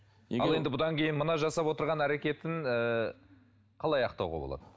ал енді бұдан кейін мына жасап отырған әрекетін ыыы қалай ақтауға болады